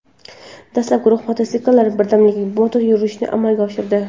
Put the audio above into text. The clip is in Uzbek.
Dastlab guruh mototsiklchilar birdamlik motoyurishini amalga oshirdi.